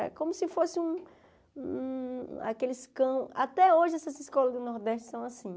Era como se fosse um um... Aqueles cão... Até hoje essas escolas do Nordeste são assim.